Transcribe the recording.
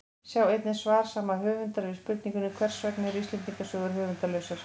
Sjá einnig svar sama höfundar við spurningunni Hvers vegna eru Íslendingasögur höfundarlausar?